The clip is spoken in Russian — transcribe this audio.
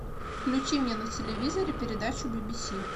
включи мне на телевизоре передачу би би си